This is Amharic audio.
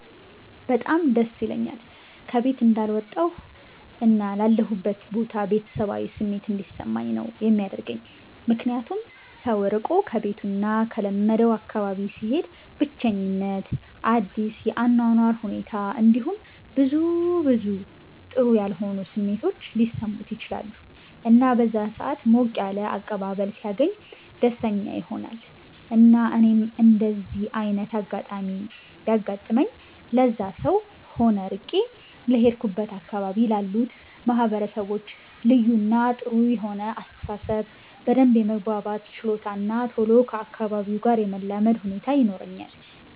በጣም ደስ ይለኛል ከ ቤት እንዳልወጣሁ እና ላለሁበት ቦታ ቤተሰባዊ ስሜት እንዲሰማኝ ነው የሚያደርገኝ ምክንያቱም ሰው ርቆ ከቤቱ እና ከለመደው አካባቢ ሲሄድ ብቸኝት፣ አዲስ የ አኗኗር ሁኔት እንዲሁም ብዙ ብዙ ጥሩ ያልሆኑ ስሜቶች ሊሰሙት ይችላሉ እና በዛ ሰአት ሞቅ ያለ አቀባበል ሲያገኝ ደስተኛ ይሆናል እና እኔም እንደዚ አይነት አጋጣሚ ቢያጋጥመኝ ለዛም ሰው ሆነ ርቄ ለሄድኩበት አካባቢ ላሉት ማህበረሰቦች ልዩ እና ጥሩ የሆነ አስተሳሰብ፣ በደንብ የመግባባት ችሎታ እና ቶሎ ከ አካባቢው ጋር የመላመድ ሁኔታ ይኖረኛል።